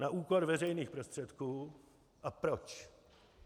Na úkor veřejných prostředků a proč.